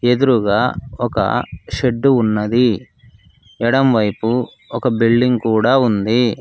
ఎదురుగా ఒక షెడ్డు ఉన్నది ఎడం వైపు ఒక బిల్డింగ్ కూడా ఉంది.